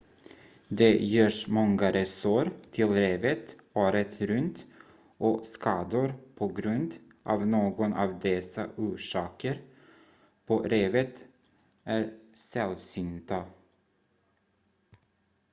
det görs många resor till revet året runt och skador på grund av någon av dessa orsaker på revet är sällsynta